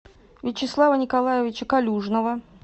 вячеслава николаевича калюжного